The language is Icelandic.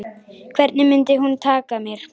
Hvernig mundi hún taka mér?